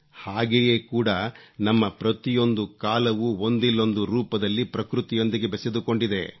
ಹಾಗೆಯೇ ಕೂಡ ನಮ್ಮ ಪ್ರತಿಯೊಂದು ಕಾಲವೂ ಒಂದಿಲ್ಲೊಂದು ರೂಪದಲ್ಲಿ ಪ್ರಕೃತಿಯೊಂದಿಗೆ ಬೆಸೆದುಕೊಂಡಿದೆ